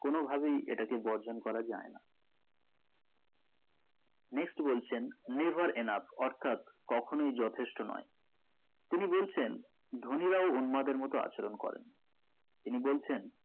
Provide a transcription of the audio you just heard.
কোনো ভাবেই এটাকে বর্জন করা যাই না next বলছেন never enough অর্থাৎ কখনোই যথেষ্ট নোই তিনি বলছেন ধোনিরাও উদ্মাদের মতো আচরণ করেন তিনি বলছেন